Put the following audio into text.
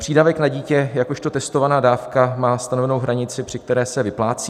Přídavek na dítě jakožto testovaná dávka má stanovenou hranici, při které se vyplácí.